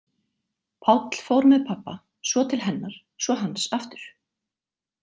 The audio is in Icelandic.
Páll fór með pabba, svo til hennar, svo hans aftur.